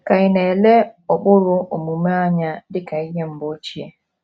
Ka ị̀ na - ele ụkpụrụ omume anya dị ka ihe mgbe ochie?